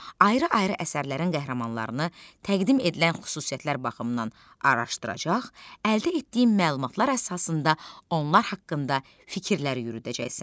Ayrı-ayrı əsərlərin qəhrəmanlarını təqdim edilən xüsusiyyətlər baxımından araşdıracaq, əldə etdiyin məlumatlar əsasında onlar haqqında fikirlər yürüdəcəksən.